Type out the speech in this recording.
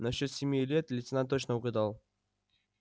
насчёт семи лет лейтенант точно угадал